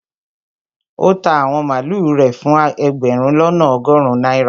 ó ta àwọn màlúù rẹ̀ fún ẹgbẹ̀rún lọ́nà ọgọrun náírà